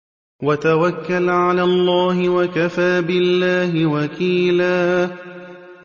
وَتَوَكَّلْ عَلَى اللَّهِ ۚ وَكَفَىٰ بِاللَّهِ وَكِيلًا